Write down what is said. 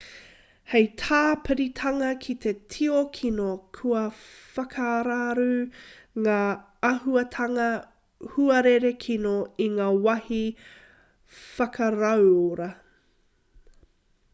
hei tāpiritanga ki te tio kino kua whakararu ngā āhuatanga huarere kino i ngā mahi whakarauora